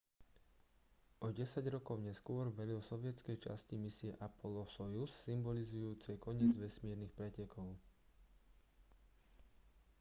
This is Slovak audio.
o desať rokov neskôr velil sovietskej časti misie apollo-sojuz symbolizujúcej koniec vesmírnych pretekov